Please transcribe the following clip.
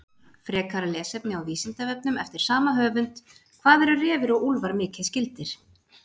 Frekara lesefni á Vísindavefnum eftir sama höfund: Hvað eru refir og úlfar mikið skyldir?